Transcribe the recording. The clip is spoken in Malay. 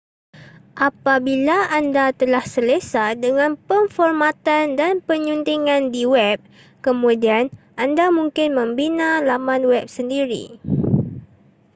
apabila anda telah selesa dengan pemformatan dan penyuntingan di web kemudian anda mungkin membina laman web sendiri